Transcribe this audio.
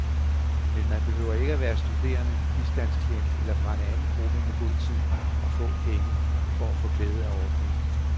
Men man behøver ikke være studerende, bistandsklient eller fra en anden gruppe med god tid og få penge, for at få glæde af ordningen.